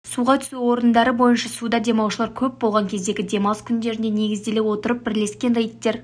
суға түсу орындары бойынша суда демалушылар көп болған кездегі демалыс күндеріне негізделе отырып бірлескен рейдтер